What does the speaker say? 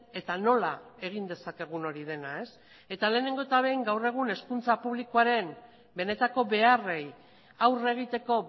eta nola egin dezakegun hori dena eta lehenengo eta behin gaur egun hezkuntza publikoaren benetako beharrei aurre egiteko